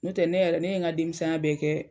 N'o tɛ ne yɛrɛ ne n ka denmisɛn ya bɛɛ kɛ.